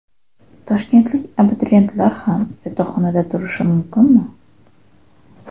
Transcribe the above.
Toshkentlik abituriyentlar ham yotoqxonada turishi mumkinmi?